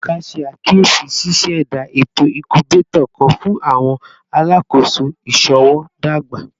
Ebuka ṣe akiyesi ṣiṣẹda eto incubator kan fun awọn alakoso iṣowo dagba